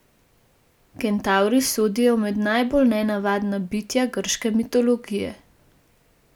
Kentavri sodijo med najbolj nenavadna bitja grške mitologije.